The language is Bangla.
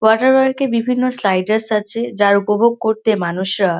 ওয়াটার পার্ক -এ বিভিন্ন স্লাইডারস আছে। যার উপভোগ করতে মানুষরা--